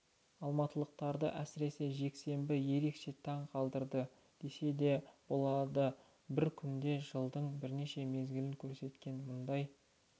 алматылықтарды әсіресе жексенбі ерекше таң қалдырды десе де болады бір күнде жылдың бірнеше мезгілін көрсеткен мұндай